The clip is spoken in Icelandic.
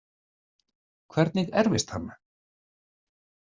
Hvernig erfist hann?